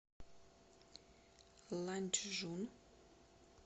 ланчжун